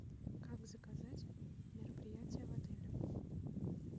как заказать мероприятие в отеле